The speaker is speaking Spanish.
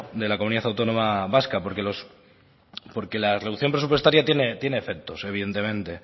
la comunidad autónoma vasca porque la reducción presupuestaria tiene efectos evidentemente